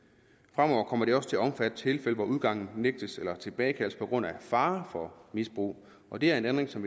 fremover kommer det også til at omfatte tilfælde hvor udgangen nægtes eller tilbagekaldes på grund af fare for misbrug og det er en ændring som